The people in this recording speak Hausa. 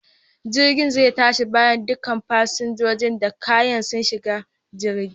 Jirgin zai tashi bayan duka fasinjojin da kayan su shiga jirgin.